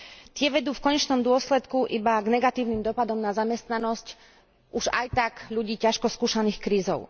Tie vedú v konečnom dôsledku iba k negatívnym dopadom na zamestnanosť už aj tak ľudí ťažko skúšaných krízou.